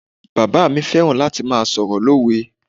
Bàbáà mi fẹ́ràn láti máa sọ̀rọ̀ lówe.